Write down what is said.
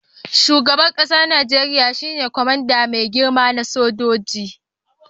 Shugaban kasan Nijeriya shine kwamandan mai girma na sojoji.